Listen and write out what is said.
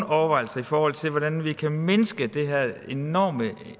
overvejelser i forhold til hvordan vi kan mindske den her enorme